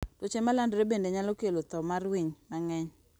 Tuoche ma landore bende nyalo kelo thoo mar winy mang'eny.